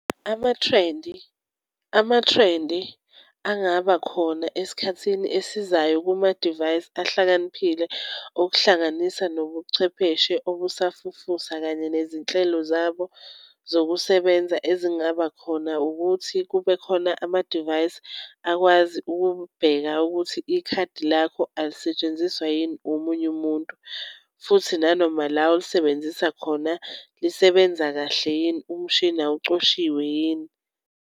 Amathrendi amathrendi angaba khona esikhathini esizayo kumadivayisi ahlakaniphile okuhlanganisa nobuchwepheshe obusafufusa kanye nezinhlelo zabo zokusebenza ezingaba khona ukuthi kube khona amadivayisi akwazi ukubheka ukuthi ikhadi lakho alisetshenziswa yini omunye umuntu futhi nanoma la olisebenzisa khona lisebenza kahle yini. Umshini awucoshiwe yini.